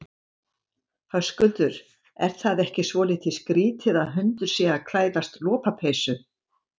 Höskuldur: Er það ekki svolítið skrítið að hundur sé að klæðast lopapeysu?